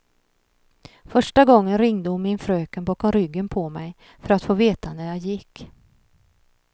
Första gången ringde hon min fröken bakom ryggen på mig, för att få veta när jag gick.